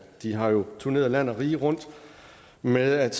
de har jo turneret land og rige rundt med at